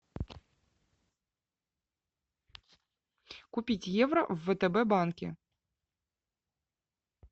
купить евро в втб банке